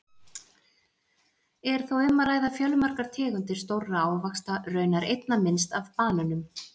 Er þá um að ræða fjölmargar tegundir stórra ávaxta, raunar einna minnst af banönum!